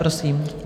Prosím.